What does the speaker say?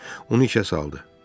Onu işə saldı.